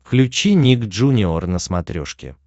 включи ник джуниор на смотрешке